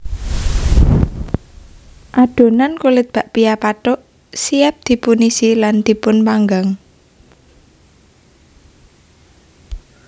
Adhonan kulit bakpia pathuk siap dipunisi lan dipunpanggang